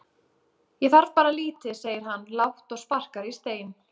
Ég þarf bara lítið segir hann lágt og sparkar í stein.